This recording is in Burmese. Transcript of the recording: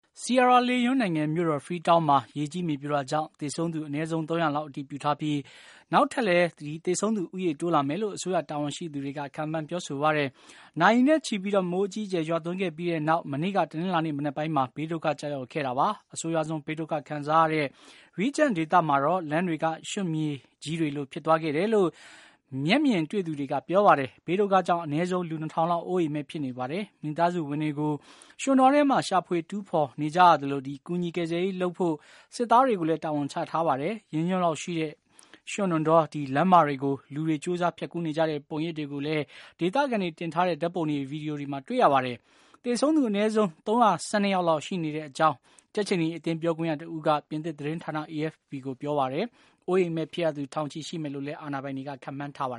Sierra Leone နိုင်ငံ မြို့တော် Freetown မှာ ရေကြီး မြေပြိုတာကြောင့် သေဆုံးသူက အနည်းဆုံး ၃၀၀ လောက် အတည်ပြုထားပြီး သေဆုံးသူ ထပ်တိုးလာဦးမယ်လို့ အစိုးရ တာဝန်ရှိသူတွေက ပြောပါတယ်။ နာရီနဲ့ချီပြီး မိုးအကြီးအကျယ် ရွားသွန်းခဲ့ပြီးနောက် မနေ့ တနလာၤနေ့ မနက်ပိုင်းမှာ ဘေးဒုက္ခ ကျရောက်ခဲ့တာပါ။ အဆိုးရွားဆုံး ဘေးဒုက္ခ ခံစားရတဲ့ Regent ဒေသမှာတော့ လမ်းတွေက ရွံ့မြစ်ကြီးတွေလို ဖြစ်သွားခဲ့တယ်လို့ မျက်မြင်တွေ့သူတွေက ပြောပါတယ်။ ဘေးဒုက္ခကြောင့် အနည်းဆုံး လူ ၂၀၀၀ လောက် အိုးအိမ်မဲ့ ဖြစ်နေပါတယ်။ မိသားစုဝင်တွေ ကို ရွှံ့တောထဲမှာ ရှာဖွေ တူးဖော်နေကြသလို ကူညီ ကယ်ဆယ်ရေး လုပ်ဖို့ စစ်သားတွေကိုလည်း တာဝန်ချထားပါတယ်။ ရင်ညွှန့်လောက်ရှိတဲ့ ရွံ့တော လမ်းမတွေကို လူတွေ ကြိုးစား ဖြတ်ကူးနေကြတဲ့ ပုံရိပ်တွေကိုလည်း ဒေသခံတွေ တင်ထားတဲ့ ဓာတ်ပုံတွေ၊ ဗွီဒီယိုတွေမှာ တွေ့ရပါတယ်။ သေဆုံးသူက အနည်းဆုံး ၃၁၂ ယောက် ရှိတဲ့ အကြောင်း ကြက်ခြေနီ အသင်း ပြောခွင့်ရတဦးက ပြင်သစ် သတင်းဌာန AFP ကို ပြောဆိုပါတယ်။ အိုးအိမ်မဲ့ ဖြစ်ရသူ ထောင်ချီ ရှိမယ်လို့လည်း အာဏာပိုင်တွေက ခန့်မှန်းထားပါ